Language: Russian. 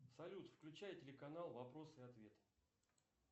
салют включай телеканал вопросы и ответы